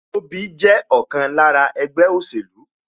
Tobi jẹ́ ọ̀kan lára ẹgbẹ́ òṣèlú